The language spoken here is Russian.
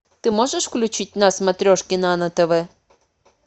ты можешь включить на смотрешке нано тв